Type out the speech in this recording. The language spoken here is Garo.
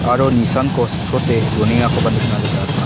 aro nisanko sikprote donengakoba nikna gita man--